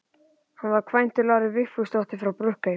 Hann var kvæntur Láru Vigfúsdóttur frá Brokey.